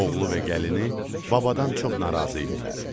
Oğlu və gəlini babadan çox narazı idilər.